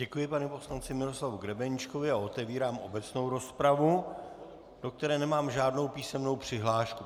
Děkuji panu poslanci Miroslavu Grebeníčkovi a otevírám obecnou rozpravu, do které nemám žádnou písemnou přihlášku.